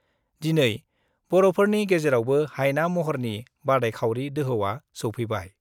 दिन बर'फोरनि गेजेरावबो हायना महरनि बादायखावरि दोहौआ सौफैबाय।